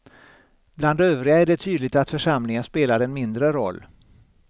Bland övriga är det tydligt att församlingen spelar en mindre roll.